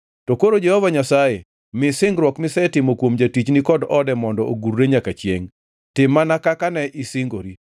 “To koro Jehova Nyasaye, mi singruok misetimo kuom jatichni kod ode mondo ogurre nyaka chiengʼ. Tim mana kaka ne isingori,